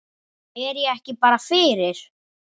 Er ég ekki bara fyrir?